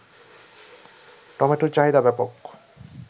টমেটোর চাহিদা ব্যাপক